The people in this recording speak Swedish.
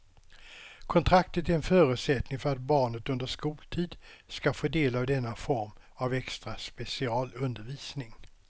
Kontraktet är en förutsättning för att barnet under skoltid ska få del av denna form av extra specialundervisning.